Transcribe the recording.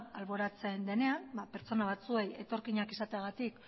alboratzen denean ba pertsona batzuei etorkinak izateagatik